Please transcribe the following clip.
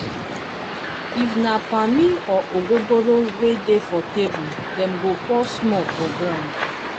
if na pammy or ogogoro wey dey for table dem go pour small for groumd